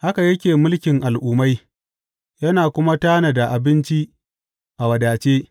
Haka yake mulkin al’ummai yana kuma tanada abinci a wadace.